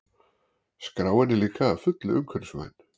Skráin er líka að fullu umhverfisvæn